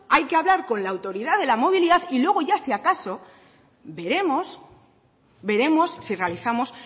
hay que hablar con la autoridad de la movilidad y luego ya si acaso veremos si realizamos